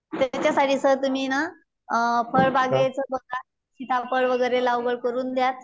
त्याच्यासाठी सर तुम्ही ना फळबागेच बघा, सीताफळ वगैरे लागवड करून द्य.